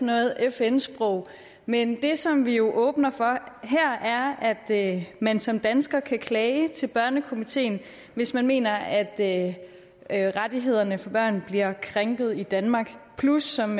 noget fn sprog men det som vi jo åbner for her er at man som dansker kan klage til børnekomiteen hvis man mener at at rettighederne for børn bliver krænket i danmark plus som